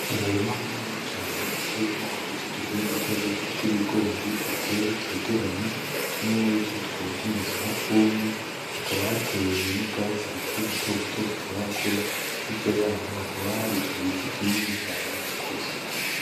Umurima muniniya cane uteyemwo uduti tukiri dutoduto tw'ibigori duteye tutegeranye. Tumwe muritwo tukaba tumeze nk'utwumye. Hakaba hateye n'ubwatsi bukiri buto buto butarakura. Hirya y'aho hakaba hari igiti kinini cane gikuze.